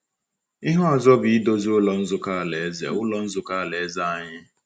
Ihe ọzọ bụ idozi Ụlọ Nzukọ Alaeze Ụlọ Nzukọ Alaeze anyị.